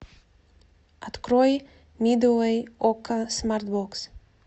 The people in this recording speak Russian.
открой мидуэй окко смарт бокс